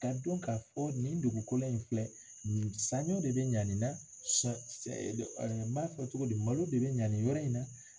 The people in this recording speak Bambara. Ka don k'a fɔ nin dugukolo in filɛ nin saɲɔ de bɛ ɲɛ ni na, sɔ m'a fɔ cogo di ?malo de bɛ ɲɛ ni yɔrɔ in na.